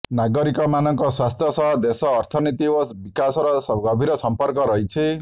ନାଗରିକମାନଙ୍କ ସ୍ୱାସ୍ଥ୍ୟ ସହ ଦେଶର ଅର୍ଥନୀତି ଓ ବିକାଶର ଗଭୀର ସମ୍ପର୍କ ରହିଛି